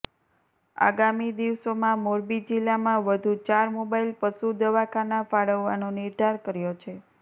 આગામી દિવસોમાં મોરબી જિલ્લામાં વધુ ચાર મોબાઈલ પશુ દવાખાના ફાળવવાનો નિર્ધાર કર્યો છે